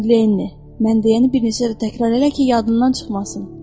Lenni, mən deyəni bir neçə dəfə təkrar elə ki, yadından çıxmasın.